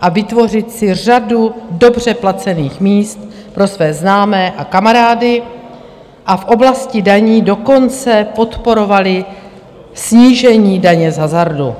a vytvořit si řadu dobře placených míst pro své známé a kamarády, a v oblasti daní dokonce podporovali snížení daně z hazardu.